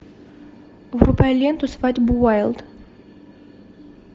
врубай ленту свадьба уайлд